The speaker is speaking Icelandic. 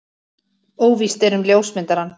Óvíst er um ljósmyndarann.